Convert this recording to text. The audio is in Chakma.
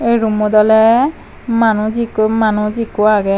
ey room mot ole manuj ikko manus ikko agey.